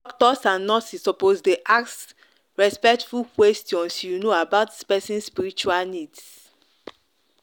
doctors and nurses suppose dey ask respectful questions you know about person spiritual needs.